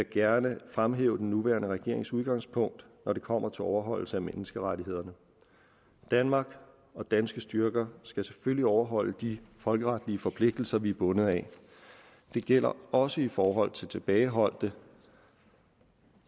gerne fremhæve den nuværende regerings udgangspunkt når det kommer til overholdelse af menneskerettighederne danmark og danske styrker skal selvfølgelig overholde de folkeretlige forpligtelser vi er bundet af det gælder også i forhold til tilbageholdte